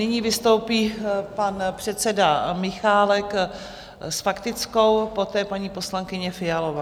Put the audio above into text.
Nyní vystoupí pan předseda Michálek s faktickou, poté paní poslankyně Fialová.